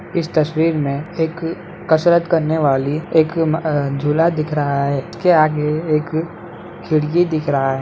इस तस्वीर में एक कसरत करने वाली एक म अ झूला दिख रहा है इसके आगे एक खिड़की दिख रहा है।